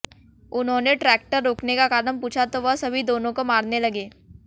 उन्होंने ट्रैक्टर रोकने का कारण पूछा तो वह सभी दोनों को मारने लगे